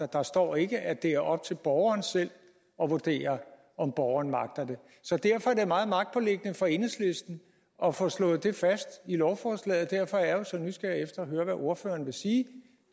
der står ikke at det er op til borgeren selv at vurdere om borgeren magter det så derfor er det meget magtpåliggende for enhedslisten at få slået det fast i lovforslaget derfor er jeg jo så nysgerrig efter at høre hvad ordføreren vil sige